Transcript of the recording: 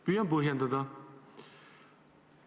Püüan põhjendada.